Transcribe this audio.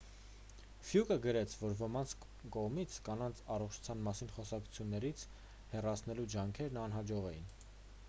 ֆլյուկը գրեց որ ոմանց կողմից կանանց առողջության մասին խոսակցություններից հեռացնելու ջանքերն անհաջող էին